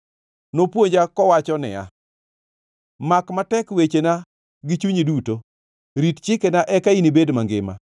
nopuonja kowacho niya, “Mak matek wechena gi chunyi duto, rit chikena eka inibed mangima.